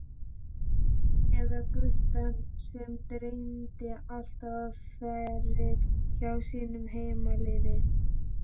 Eða guttann sem dreymdi alltaf um feril hjá sínu heimaliði?